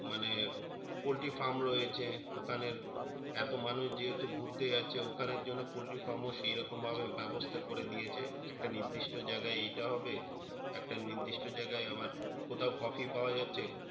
মানে poultry firm রয়েছে ওখানে এত মানুষ যেহেতু ঘুরতে যাচ্ছে ওখানের জন্য poultry firm ও সেরকম ভাবে ব্যাবস্থা করে দিয়েছে একটা নির্দিষ্ট জাইগাই এটা হবে একটা নির্দিষ্ট জাইগাই আবার কোথাও coffee পাওয়া যাচ্ছে